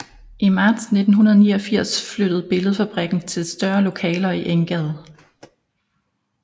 I marts 1989 flyttede Billedfabrikken til større lokaler i Enggade